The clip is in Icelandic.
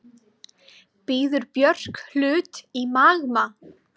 Býður Björk hlut í Magma